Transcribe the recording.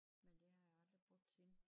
Men det har jeg aldrig brugt siden